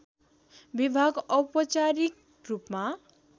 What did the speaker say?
विभाग औपचारिक रूपमा